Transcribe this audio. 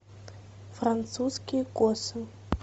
французские косы